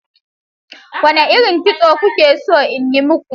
Wane irin kitso kuke so in yi maku?